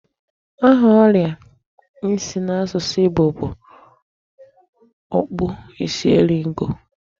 Aha oria isi n'asusu Igbo bụ okpuisieriego.